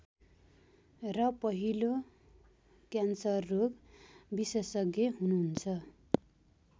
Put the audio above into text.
र पहिलो क्यान्सररोग विशेषज्ञ हुनुहुन्छ